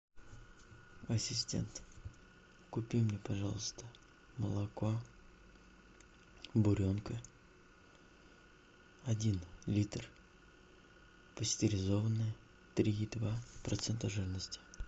ассистент купи мне пожалуйста молоко буренка один литр пастеризованное три и два процента жирности